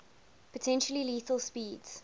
potentially lethal speeds